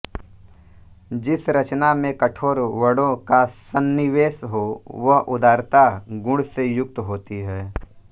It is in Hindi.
जिस रचना में कठोर वर्णों का संनिवेश हो वह उदारता गुण से युक्त होती है